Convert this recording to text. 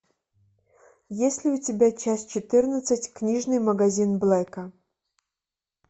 есть ли у тебя часть четырнадцать книжный магазин блэка